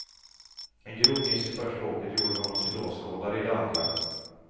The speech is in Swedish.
En grov miss i första åket gjorde honom till åskådare i det andra.